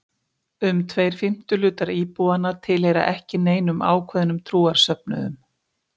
Um tveir fimmtu hlutar íbúanna tilheyra ekki neinum ákveðnum trúarsöfnuðum.